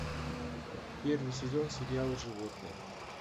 первый сезон сериала животные